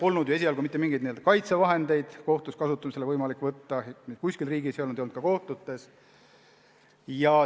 Algul polnud ju mitte mingeid kaitsevahendeid võimalik kohtus kasutusel võtta, kuskil riigis neid peaaegu ei olnud, ei olnud ka kohtutes.